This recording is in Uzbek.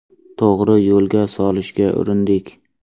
To‘g‘ri yo‘lga solishga urindik.